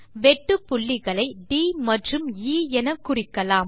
வெட்டு புள்ளிகளை ட் மற்றும் எ எனக்குறிக்கலாம்